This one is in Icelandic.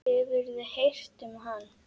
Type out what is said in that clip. Hefurðu heyrt talað um hann?